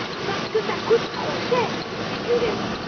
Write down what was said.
Parce que cela coûte trop cher, figurez vous!